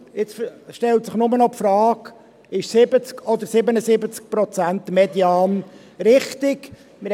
Jetzt stellt sich nur noch die Frage, ob ein 70- oder ein 77-Prozent-Median richtig ist.